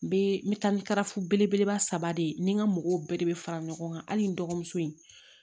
N bɛ n bɛ taa ni karafu belebeleba saba de ye ni n ka mɔgɔw bɛɛ de bɛ fara ɲɔgɔn kan hali n dɔgɔmuso in